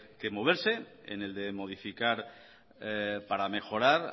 que moverse en el de modificar para mejorar